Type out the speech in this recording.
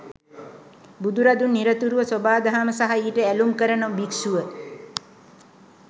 බුදුරදුන් නිරතුරුව සොබාදහම සහ ඊට ඇළුම් කරන භික්‍ෂුව